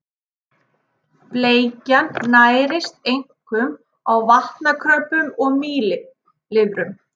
Bleikjan nærist einkum á vatnakröbbum og mýlirfum.